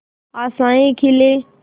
आशाएं खिले